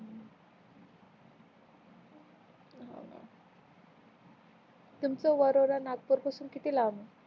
तुमच वरोडा नागपूर पासून किती लांब आहे